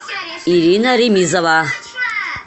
ирина ремизова